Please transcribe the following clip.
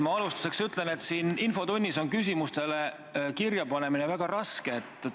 Ma alustuseks ütlen, et siin infotunnis on küsimuste esitamiseks kirjapanemine väga raske.